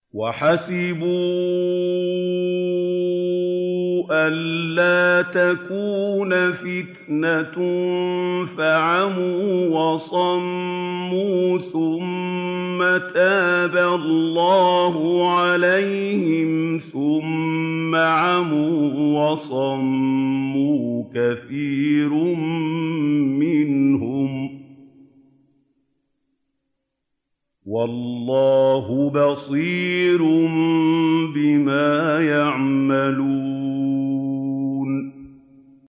وَحَسِبُوا أَلَّا تَكُونَ فِتْنَةٌ فَعَمُوا وَصَمُّوا ثُمَّ تَابَ اللَّهُ عَلَيْهِمْ ثُمَّ عَمُوا وَصَمُّوا كَثِيرٌ مِّنْهُمْ ۚ وَاللَّهُ بَصِيرٌ بِمَا يَعْمَلُونَ